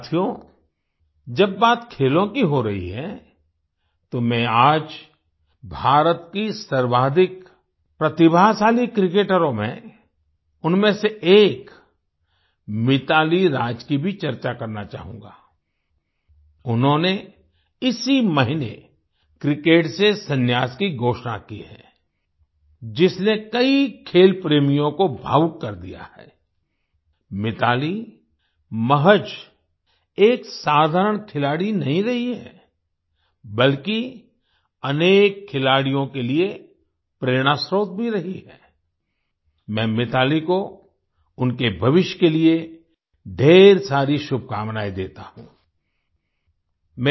साथियो जब बात खेलों की हो रही है तो मैं आज भारत की सर्वाधिक प्रतिभाशाली क्रिकेटरों में उनमें से एक मिताली राज की भी चर्चा करना चाहूँगा आई उन्होंने इसी महीने क्रिकेट से संन्यास की घोषणा की है जिसने कई खेल प्रेमियों को भावुक कर दिया है आई मिताली महज एक असाधारण खिलाड़ी नहीं रही हैं बल्कि अनेक खिलाड़ियों के लिए प्रेरणास्त्रोत भी रही हैं आई मैं मिताली को उनके भविष्य के लिए ढ़ेर सारी शुभकामनाएं देता हूँ आई